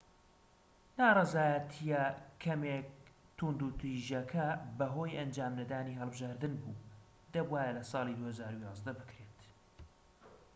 ناڕەزایەتیە کەمێک توندوتیژەکە بەهۆی ئەنجام نەدانی هەڵبژاردن بوو دەبوایە لە ساڵی 2011 بکرێت